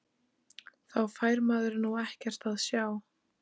Þá fær maður nú ekkert að sjá!!